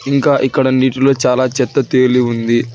ఇంకా ఇక్కడ నీటిలో చాలా చెత్త తేలి ఉంది